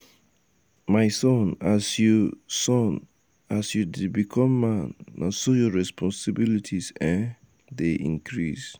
um my son as you son as you dey become man na so your responsilities um dey increase.